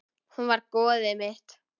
Hún var goðið mitt.